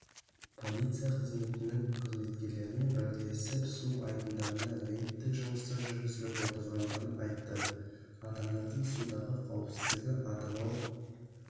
полиция қызметінің қызметкерлерімен бірлесіп су айдындарында рейдтік жұмыстар жүргізіліп отырғандығын айтты адамдардың судағы қауіпсіздігі атырау